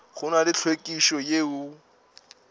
go na le hlwekišo yeo